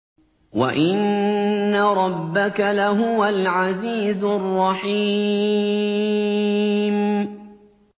وَإِنَّ رَبَّكَ لَهُوَ الْعَزِيزُ الرَّحِيمُ